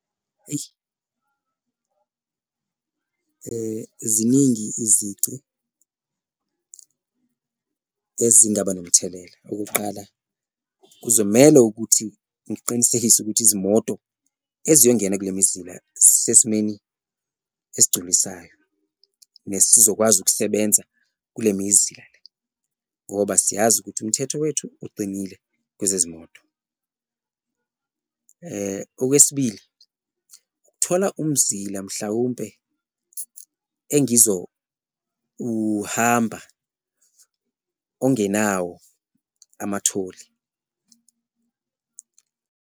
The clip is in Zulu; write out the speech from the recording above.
Eyi ziningi izici ezingaba nomthelela, okokuqala, kuzomele ukuthi ngiqinisekise ukuthi izimoto eziyongena kule mizila zisesimeni esigculisayo nesizokwazi ukusebenza kule mizila le ngoba siyazi ukuthi umthetho wethu uqinile kwezezimoto. Okwesibili, thola umzila mhlawumpe engizowuhamba ongenawo amatholi.